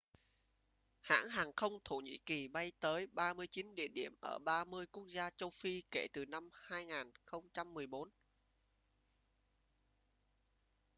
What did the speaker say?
hãng hàng không thổ nhĩ kỳ bay tới 39 địa điểm ở 30 quốc gia châu phi kể từ năm 2014